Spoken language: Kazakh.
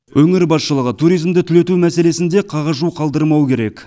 өңір басшылығы туризмді түлету мәселесін де қағажу қалдырмауы керек